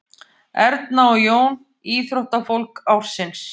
Erna og Jón íþróttafólk ársins